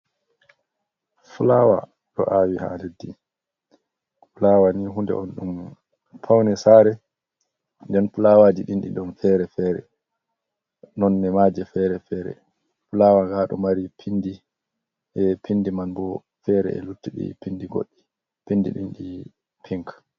Fulaawa ɗo aawi haa leddi. Pulawa ni hunde on ɗum paune saare, nden fulawaji ɗin ɗi ɗon fere-fere nonne maaji fere-fere. Fulawa gaaɗo mari pindi e pindi man bo fere e luttiɗi pindi goɗɗi, pindi ɗin ɗi pink.